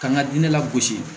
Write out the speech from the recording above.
K'an ka diinɛ la gosi